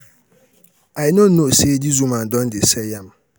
i no know say dis woman don dey sell yam.